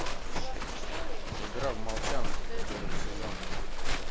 игра в молчанку первый сезон